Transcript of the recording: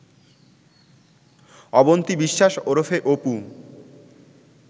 অবন্তি বিশ্বাস ওরফে অপু